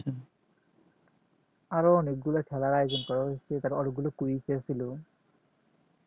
আরো অনেকগুলো খেলা আয়োজন করা হয়েছিল তারা অনেকগুলো quiz করেছিল